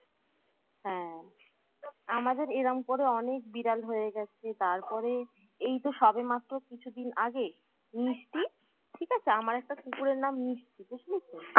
হ্যাঁ আমাদের এরম করে অনেক বিড়াল হয়ে গেছে তারপরে এই তো সবেমাত্র কিছু দিন আগে মিষ্টি ঠিক আছে আমার একটা কুকুরের নাম মিষ্টি বুঝলি তো